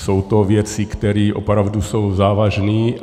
Jsou to věci, které opravdu jsou závažné.